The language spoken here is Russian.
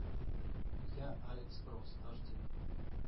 я алекс кросс аш ди